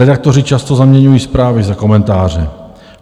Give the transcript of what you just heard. Redaktoři často zaměňují zprávy za komentáře.